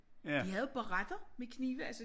De havde barretter med knive altså